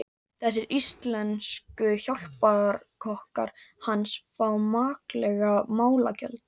Þessir íslensku hjálparkokkar hans fá makleg málagjöld.